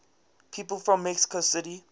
people from mexico city